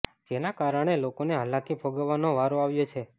જેના કારણે લોકોને હાલાકી ભોગવવાનો વારો આવ્યો છે